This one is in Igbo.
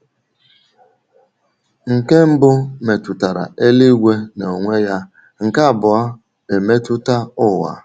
Nke mbụ metụtara eluigwe n’onwe ya, nke abụọ emetụta ụwa.